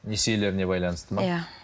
несиелеріне байланысты ма иә